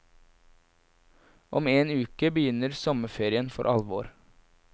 Om en uke begynner sommerferien for alvor.